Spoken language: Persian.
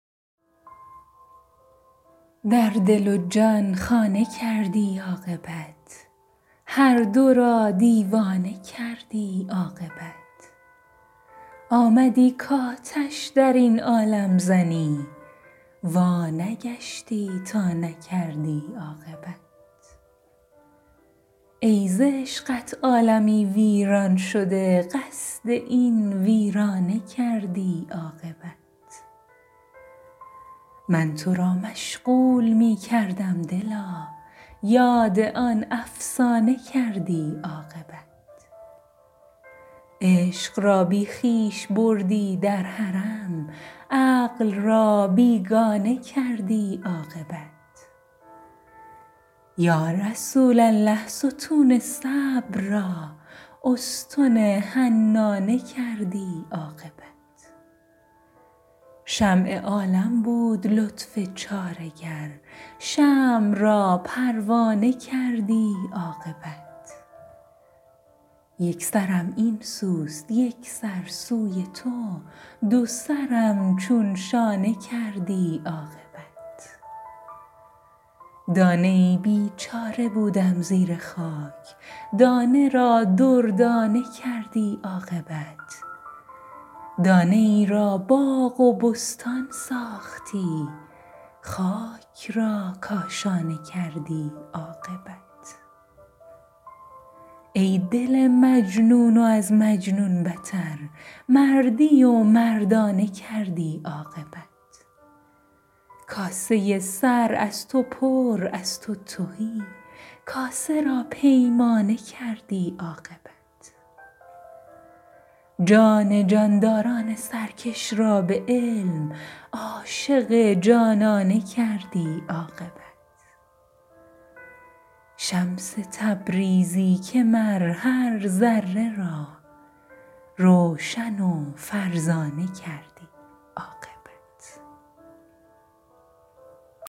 در دل و جان خانه کردی عاقبت هر دو را دیوانه کردی عاقبت آمدی کآتش در این عالم زنی وانگشتی تا نکردی عاقبت ای ز عشقت عالمی ویران شده قصد این ویرانه کردی عاقبت من تو را مشغول می کردم دلا یاد آن افسانه کردی عاقبت عشق را بی خویش بردی در حرم عقل را بیگانه کردی عاقبت یا رسول الله ستون صبر را استن حنانه کردی عاقبت شمع عالم بود لطف چاره گر شمع را پروانه کردی عاقبت یک سرم این سوست یک سر سوی تو دو سرم چون شانه کردی عاقبت دانه ای بیچاره بودم زیر خاک دانه را دردانه کردی عاقبت دانه ای را باغ و بستان ساختی خاک را کاشانه کردی عاقبت ای دل مجنون و از مجنون بتر مردی و مردانه کردی عاقبت کاسه سر از تو پر از تو تهی کاسه را پیمانه کردی عاقبت جان جانداران سرکش را به علم عاشق جانانه کردی عاقبت شمس تبریزی که مر هر ذره را روشن و فرزانه کردی عاقبت